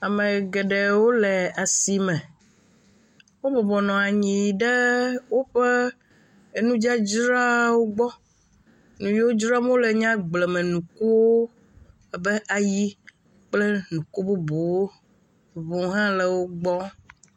Ame geɖewo le asi me wo bɔbɔnɔ anyi ɖe woƒe nudzadzrawo gbɔ nu yiwo dzram wole la nye agblemenukuwo, abe ayi kpl nuku bubuwo, ŋu hã le wo gbɔ,